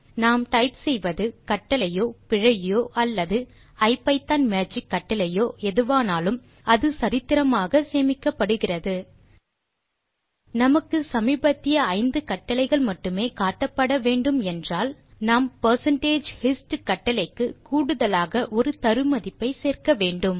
நாம் டைப் செய்வது கட்டளையோ பிழையோ அல்லது ஐபிதான் மேஜிக் கட்டளையோ எதுவானாலும் அது சரித்திரமாக சேமிக்கப்படுகிறது நமக்கு சமீபத்திய 5 கட்டளைகள் மட்டுமே காட்டப்பட வேண்டும் என்றால் நாம் percentage hist கட்டளைக்கு கூடுதலாக ஒரு தரு மதிப்பை சேர்க்க வேண்டும்